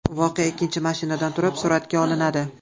Voqea ikkinchi mashinadan turib suratga olinadi.